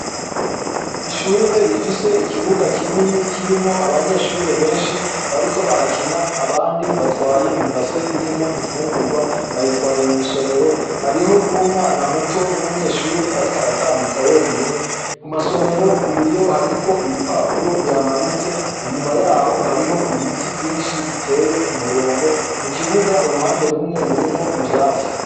Ishure rifise ikibuga kinini kirimwo abanyeshure benshi bariko barakina abandi batwaye ibase irimwo imfingurwa, bayitwaye mw'isomero hariho n'umwana muto w'umunyeshure ariko aratambuka wenyene, ku masomero, ku biyo hariko ibipapuro bihamanitse, inyuma yaho hariho ibiti vyinshi biteye ku murongo mu kibuga iruhande rumwe rurimwo ivyatsi.